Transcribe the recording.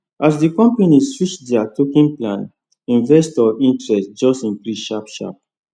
as the company switch their token plan investor interest just increase sharp sharp